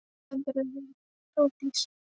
Þú stendur þig vel, Þórdís!